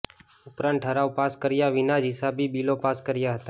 ઉપરાંત ઠરાવ પાસ કર્યા વિના જ હિસાબી બિલો પાસ કર્યા હતા